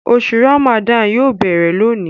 Oṣù Ràmàdánù yóò béèrè lóni